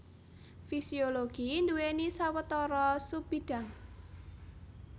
Fisiologi nduwèni sawetara subbidhang